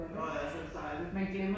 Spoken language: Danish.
Nå ja, så det dejligt